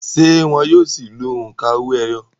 ṣé wọn yóò si lo òǹkà owó-ẹyọ?